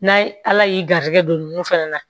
N'a ye ala y'i garijɛgɛ don nunnu fɛnɛ na